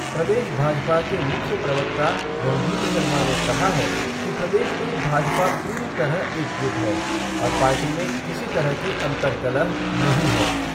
प्रदेश भाजपा के मुख्य प्रवक्ता रणधीर शर्मा ने कहा है कि प्रदेश में भाजपा पूरी तरह एकजुट है और पार्टी में किसी तरह की अंतर्कलह नहीं है।